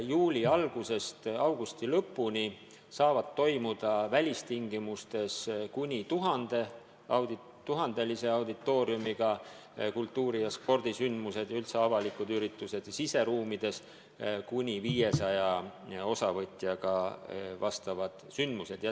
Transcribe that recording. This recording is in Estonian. Juuli algusest augusti lõpuni saavad toimuda välistingimustes kuni 1000-lise auditooriumiga kultuuri- ja spordisündmused ja üldse avalikud üritused, siseruumides kuni 500 osavõtjaga sündmused.